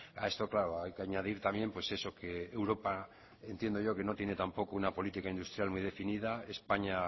a esto claro hay que añadir también pues eso que europa entiendo yo que no tiene tampoco una política industrial muy definida españa